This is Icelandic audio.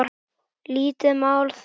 Lítið mál það.